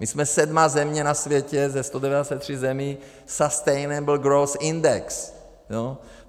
My jsme sedmá země na světě ze 193 zemí - Sustainable growth index.